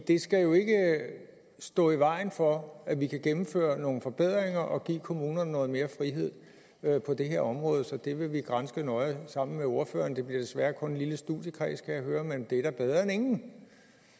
det skal jo ikke stå i vejen for at vi kan gennemføre nogle forbedringer og give kommunerne noget mere frihed på det her område så det vil vi granske nøje sammen med ordføreren det bliver desværre kun en lille studiekreds kan jeg høre men det er da bedre end ingen